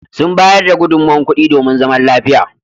Sun bayar da gudunmowar kuɗi domin zaman lafiya.